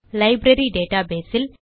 library database will